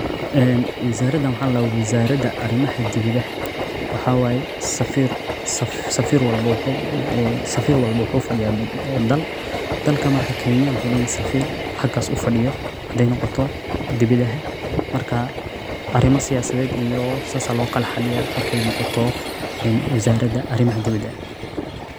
Wizaaradaan waxaa ladahaa wizaarada arimaha diwadaha. Waxaa waaye safiir walbo wuxuu fadiyaa dal, dalka marka kenya wexeey leyihiin safiir xagaas ufadiyo hadaay noqoto arima siyaasadeed iyoo saas loo kala xaaliyaa markaay noqoto wizaarada arimaha diwada.